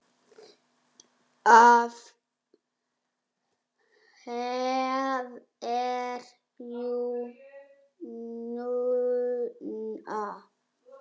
Af hverju núna?